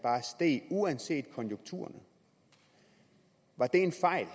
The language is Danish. uanset konjunkturerne var det en fejl